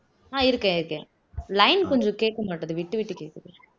ஆஹ் இருக்கேன் இருக்கேன் line கொஞ்சம் கேட்க மாட்டேங்குது விட்டு விட்டு கேக்குது